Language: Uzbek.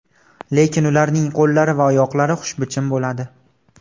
Lekin ularning qo‘llari va oyoqlari xushbichim bo‘ladi.